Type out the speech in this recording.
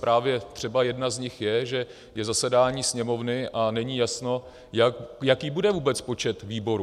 Právě třeba jedna z nich je, že je zasedání Sněmovny a není jasno, jaký bude vůbec počet výborů.